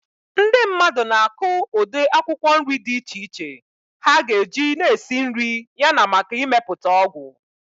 Ndị mmadụ na-akụ ụdị akwụkwọ nri dị iche iche ha ga-eji na esi nri yana maka imepụta ọgwụ.